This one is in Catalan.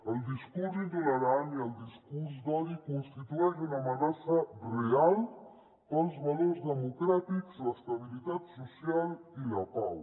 el discurs intolerant i el discurs d’odi constitueixen una amenaça real per als valors democràtics l’estabilitat social i la pau